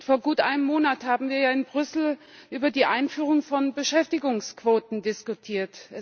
Vor gut einem Monat haben wir in Brüssel über die Einführung von Beschäftigungsquoten diskutiert.